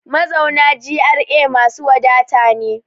Mazauna GRA masu wadata ne.